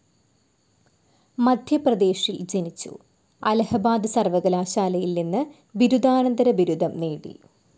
മദ്ധ്യപ്രദേശിൽ ജനിച്ചു. അലഹബാദ് സർവ്വകലാശാലയിൽ നിന്ന് ബിരുദാനന്തര ബിരുദം നേടി.